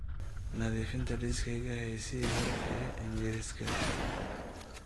nadiifinta liiskaygii heesihii hore ee ingiriisiga